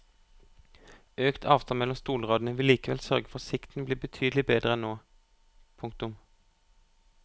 Økt avstand mellom stolradene vil likevel sørge for at sikten blir betydelig bedre enn nå. punktum